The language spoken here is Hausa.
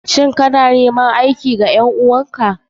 Shin kana neman aiki wa ƴan uwan ka?